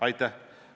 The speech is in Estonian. Aitäh!